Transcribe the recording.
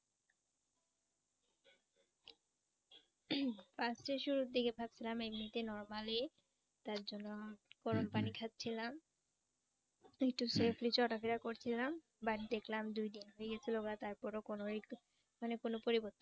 First এ শুরুর দিকে ভাবছিলাম এমনিতে normal ই। তার জন্য গরম পানি খাচ্ছিলাম একটু safely চলাফেরা করছিলাম। বাড়ি দেখলাম দুই দিন হই গেছিল গা, তারপরে ও কোন একটু মানে কোন পরিবর্তন